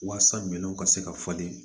Walasa ɲɛw ka se ka falen